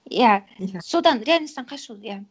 иә содан реальносттан қашу иә